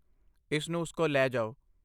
ਇਸ ਨੂੰ ਉਸ ਕੋਲ ਲੈ ਜਾਓ।